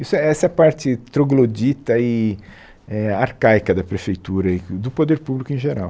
Isso essa é a parte troglodita e eh arcaica da Prefeitura e do Poder Público em geral.